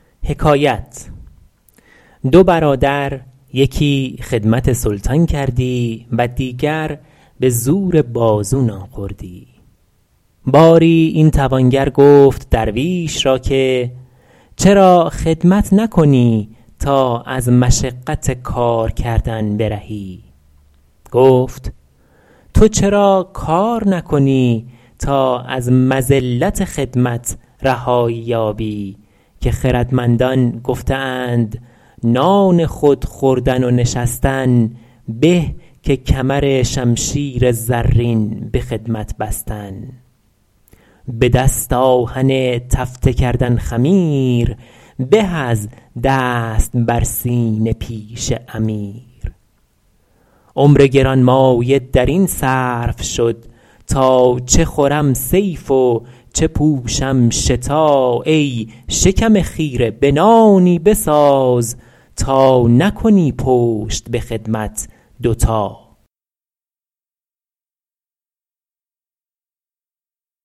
دو برادر یکی خدمت سلطان کردی و دیگر به زور بازو نان خوردی باری این توانگر گفت درویش را که چرا خدمت نکنی تا از مشقت کار کردن برهی گفت تو چرا کار نکنی تا از مذلت خدمت رهایی یابی که خردمندان گفته اند نان خود خوردن و نشستن به که کمرشمشیر زرین به خدمت بستن به دست آهک تفته کردن خمیر به از دست بر سینه پیش امیر عمر گرانمایه در این صرف شد تا چه خورم صیف و چه پوشم شتا ای شکم خیره به تایی بساز تا نکنی پشت به خدمت دو تا